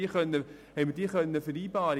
Sie bezahlen ja Mindestlöhne, vielen Dank!